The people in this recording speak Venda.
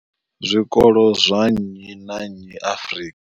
zwikolo zwa nnyi na nnyi Afrika.